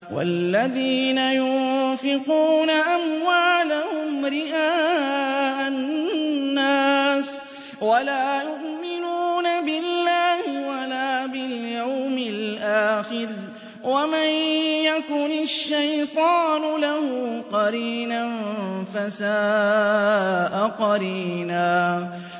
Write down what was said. وَالَّذِينَ يُنفِقُونَ أَمْوَالَهُمْ رِئَاءَ النَّاسِ وَلَا يُؤْمِنُونَ بِاللَّهِ وَلَا بِالْيَوْمِ الْآخِرِ ۗ وَمَن يَكُنِ الشَّيْطَانُ لَهُ قَرِينًا فَسَاءَ قَرِينًا